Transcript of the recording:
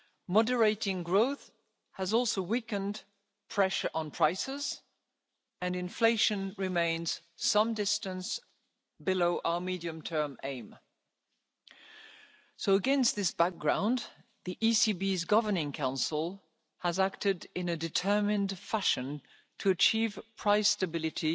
Moderating growth has also weakened pressure on prices, and inflation remains some distance below our medium term aim. Against this background, the ECB's Governing Council has acted in a determined fashion to achieve price stability,